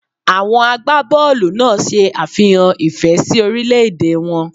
Àwọn àgbàbọọlu náà se àfihàn ìfẹ́ sí orílè-èdè wọn